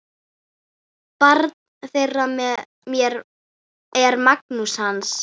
Barn þeirra er Magnús Hans.